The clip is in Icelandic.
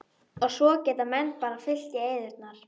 Og svo geta menn bara fyllt í eyðurnar.